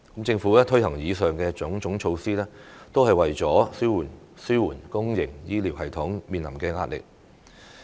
政府推行以上種種措施，都是為了紓緩公營醫療系統面臨的壓力。